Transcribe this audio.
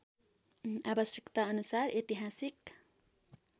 आवश्यकता अनुसार ऐतिहासिक